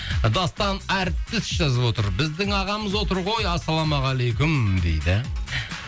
дастан әртіс жазып отыр біздің ағамыз отыр ғой ассалаумағалейкум дейді